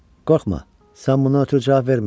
Qorxma, sən buna görə cavab verməyəcəksən.